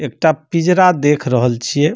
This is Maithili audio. एक टा पिजरा देख रहल छिये।